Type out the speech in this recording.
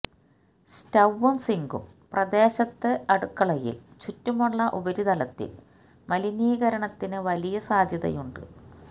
സ്റ്റൌയും സിങ്കും പ്രദേശത്ത് അടുക്കളയിൽ ചുറ്റുമുള്ള ഉപരിതലത്തിൽ മലിനീകരണത്തിന് വലിയ സാധ്യതയുണ്ട്